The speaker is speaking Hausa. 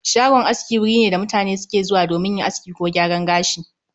Shagon aski wuri ne da mutane suke zuwa domin yin aski ko gyaran gashi